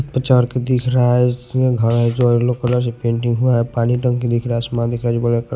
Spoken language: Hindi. आचार के दिख रहा हैं इसमें घर जो येलो कलर पेंटिंग हुआ हैं पानी टंकी दिख रहा है आसमान दिख रहा जो बड़ा--